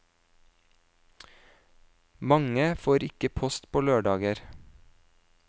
Mange får ikke post på lørdager.